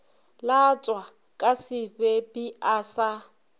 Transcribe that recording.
latswa ka sebepi a sa